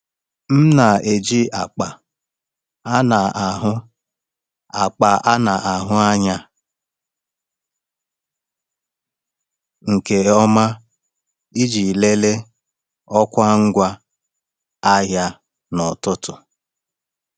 M na-eji akpa a na-ahụ akpa a na-ahụ anya nke ọma iji lelee ọkwa ngwa ahịa n’ọtụtù.